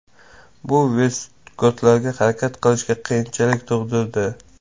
Bu vestgotlarga harakat qilishga qiyinchilik tug‘dirdi.